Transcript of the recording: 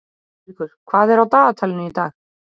Ástríkur, hvað er á dagatalinu í dag?